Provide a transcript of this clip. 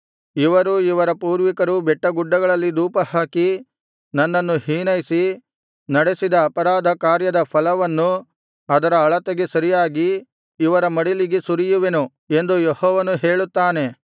ಇವರೂ ಇವರ ಪೂರ್ವಿಕರೂ ಬೆಟ್ಟಗುಡ್ಡಗಳಲ್ಲಿ ಧೂಪಹಾಕಿ ನನ್ನನ್ನು ಹೀನೈಸಿ ನಡೆಸಿದ ಅಪರಾಧ ಕಾರ್ಯದ ಫಲವನ್ನು ಅದರ ಅಳತೆಗೆ ಸರಿಯಾಗಿ ಇವರ ಮಡಿಲಿಗೆ ಸುರಿಯುವೆನು ಎಂದು ಯೆಹೋವನು ಹೇಳುತ್ತಾನೆ